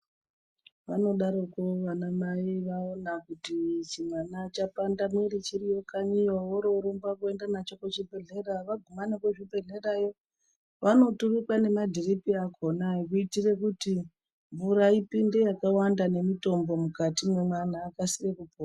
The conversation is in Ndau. Vanodaroko vana mai vaona kuti chimwana chapanda mwiri chiriyo kanyiyo, oro vorumba kwenda nacho kuchibhedhlera vaguma nekuzvibhedhlerayo vanoturikwa nemadhiripi akona. Yekuitire kuti mvura ipinde yakawanda nemutombo mukati mwemwana akasire kupora.